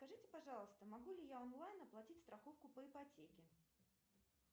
скажите пожалуйста могу ли я онлайн оплатить страховку по ипотеке